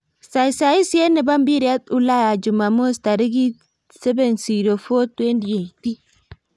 Saisaet nebo mpiret Ulaya Jumamos tarik 07.04.2018